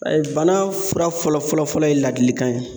Ɛɛ Bana fura fɔlɔ fɔlɔ ye ladilikan ye